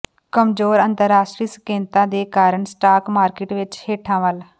ਕਮਜ਼ੋਰ ਅੰਤਰਰਾਸ਼ਟਰੀ ਸੰਕੇਤਾਂ ਦੇ ਕਾਰਨ ਸਟਾਕ ਮਾਰਕੀਟ ਵਿੱਚ ਹੇਠਾਂ ਵੱਲ